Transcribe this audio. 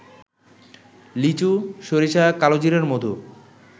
লিচু, সরিষা, কালোজিরার মধু